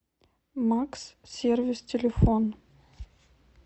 макс сервис телефон